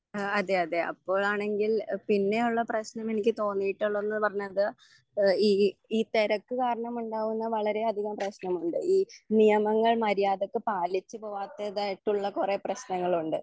ആ അതെ അതെ അപ്പോഴാണെങ്കിൽ പിന്നെയുള്ള പ്രെശ്നം എനിക്ക് തോന്നിയിട്ടുള്ളതെന്ന് പറഞ്ഞാൽ എഹ് ഈ ഇ തെരക്ക് കരണമുണ്ടാവുന്ന വളരെ അധികം പ്രേശ്നമുണ്ട് ഈ നിയമങ്ങൾ മര്യാദക്ക് പാലിച്ച് പോവാത്തതായിട്ടുള്ള കൊറേ പ്രേശ്നങ്ങളുണ്ട്.